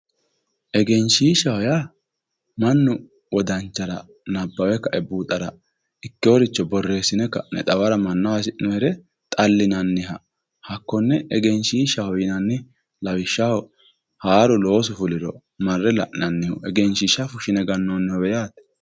egenshiishshaho yaa mannu wodanchara nabbawe kae buuxara ikkinoricho borreessine ka'ne xawara hasi'noonire xallinanniha hakkonne egenshiishshaho yinanni lawishshaho haaru loosu fuliro marre la'nannihu egenshiishsha fushshine gannoonnnihowe yaate.